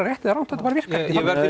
rétt eða rangt þetta bara virkar